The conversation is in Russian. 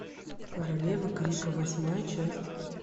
королева крика восьмая часть